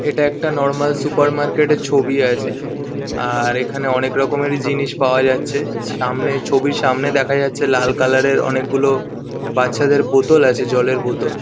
এটা একটা normal supermarket -এর ছবি আছে আর এখানে অনেক রকমেরই জিনিস পাওয়া যাচ্ছে। সামনে ছবির সামনে দেখা যাচ্ছে লাল কালার -এর অনেকগুলো বাচ্চাদের বোতল আছে জলের বোতল।